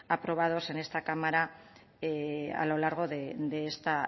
aprobados en esta cámara a lo largo de esta